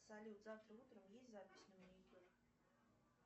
салют завтра утром есть запись на маникюр